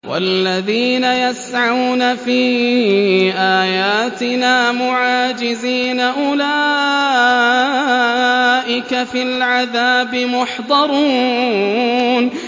وَالَّذِينَ يَسْعَوْنَ فِي آيَاتِنَا مُعَاجِزِينَ أُولَٰئِكَ فِي الْعَذَابِ مُحْضَرُونَ